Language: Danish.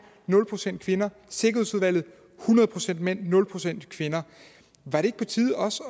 nul procent kvinder i sikkerhedsudvalget hundrede procent mænd nul procent kvinder var det ikke på tide også